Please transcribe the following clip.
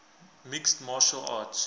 mixed martial arts